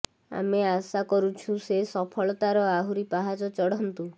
ଆମେ ଆଶା କରୁଛୁ ସେ ସଫଳତାର ଆହୁରି ପାହାଚ ଚଢ଼ନ୍ତୁ